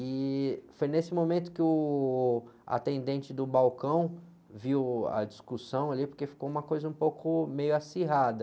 E foi nesse momento que o atendente do balcão viu a discussão ali, porque ficou uma coisa um pouco meio acirrada.